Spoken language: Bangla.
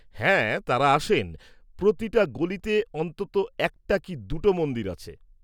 -হ্যাঁ, তাঁরা আসেন। প্রতিটা গলিতে অন্ততঃ একটা কি দুটো মন্দির আছে।